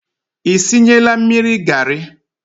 Ị sinyela mmiri garị?